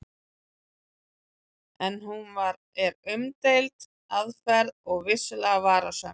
En hún er umdeild aðferð og vissulega varasöm.